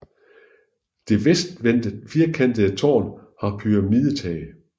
Det vestvendte firkantede tårn har pyramidetag